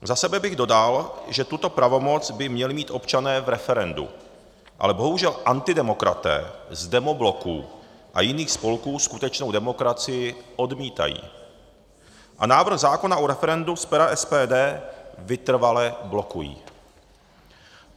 Za sebe bych dodal, že tuto pravomoc by měli mít občané v referendu, ale bohužel antidemokraté z demobloků a jiných spolků skutečnou demokracii odmítají a návrh zákona o referendu z pera SPD vytrvale blokují.